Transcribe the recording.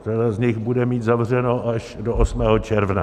Řada z nich bude mít zavřeno až do 8. června.